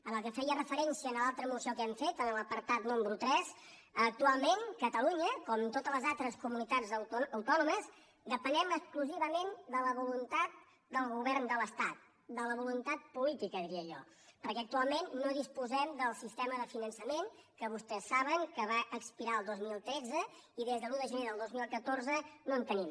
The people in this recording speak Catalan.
en el que feia referència a l’altra moció que hem fet en l’apartat número tres actualment catalunya com to·tes les altres comunitats autònomes depenem exclu·sivament de la voluntat del govern de l’estat de la voluntat política diria jo perquè actualment no dis·posem del sistema de finançament que vostès saben que va expirar el dos mil tretze i des de l’un de gener del dos mil catorze no en tenim